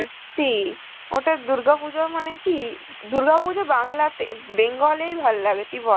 সত্যি, ওটাই দুর্গাপুজো মানে কি, দুর্গাপূজো বাংলাতে~ উম bengal এই ভালো লাগে তুই বল